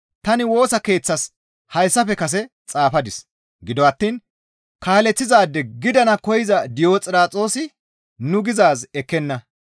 Tani Woosa keeththas hayssafe kase xaafadis; gido attiin kaaleththizaade gidana koyza Diyoxiraxoosi nuni gizaaz ekkenna.